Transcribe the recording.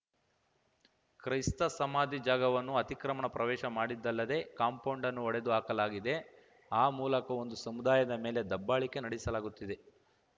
ಕ್ರೈಸ್ತ ಸಮಾಧಿ ಜಾಗವನ್ನು ಅತಿಕ್ರಮಣ ಪ್ರವೇಶ ಮಾಡಿದ್ದಲ್ಲದೇ ಕಾಂಪೌಂಡ್‌ನ್ನು ಒಡೆದು ಹಾಕಲಾಗಿದೆ ಆ ಮೂಲಕ ಒಂದು ಸಮುದಾಯದ ಮೇಲೆ ದಬ್ಬಾಳಿಕೆ ನಡೆಸಲಾಗುತ್ತಿದೆ